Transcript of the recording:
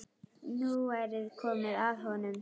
Nú væri komið að honum.